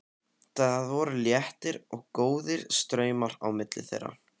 Það voru léttir og góðir straumar á milli þeirra.